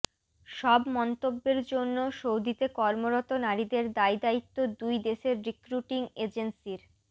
সব মন্তব্যের জন্য সৌদিতে কর্মরত নারীদের দায়দায়িত্ব দুই দেশের রিক্রুটিং এজেন্সির